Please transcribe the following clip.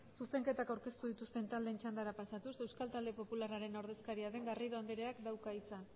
zuzenketak aurkeztu dituzten taldeen txandara pasatuz euskal talde popularraren ordezkaria den garrido andereak dauka hitza